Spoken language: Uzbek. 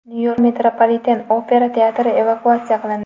Nyu-Yorkda Metropoliten-opera teatri evakuatsiya qilindi.